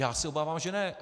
Já se obávám, že ne.